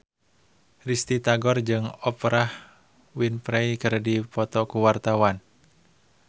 Risty Tagor jeung Oprah Winfrey keur dipoto ku wartawan